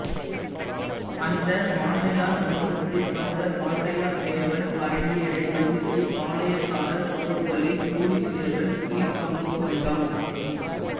அந்த வாண்டையார் வம்சத்தில் வந்த வாண்டாயத்தேவன் பரங்கியரை எதிர்த்து பாளையக்காரர் போர்களில் பூலித்தேவன் கீழ் பங்கு கொண்டான்